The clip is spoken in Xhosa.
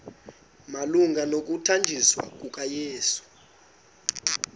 malunga nokuthanjiswa kukayesu